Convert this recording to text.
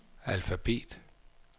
alfabet